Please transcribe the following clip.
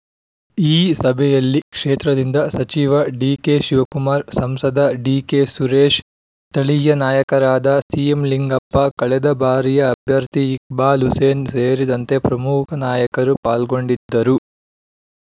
ಈ ಸಭೆಯಲ್ಲಿ ಕ್ಷೇತ್ರದಿಂದ ಸಚಿವ ಡಿಕೆ ಶಿವಕುಮಾರ್‌ ಸಂಸದ ಡಿಕೆ ಸುರೇಶ್‌ ಸ್ಥಳೀಯ ನಾಯಕರಾದ ಸಿಎಂ ಲಿಂಗಪ್ಪ ಕಳೆದ ಬಾರಿಯ ಅಭ್ಯರ್ಥಿ ಇಕ್ಬಾಲ್‌ ಹುಸೇನ್‌ ಸೇರಿದಂತೆ ಪ್ರಮುಖ ನಾಯಕರು ಪಾಲ್ಗೊಂಡಿದ್ದರು